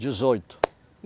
Dezoito.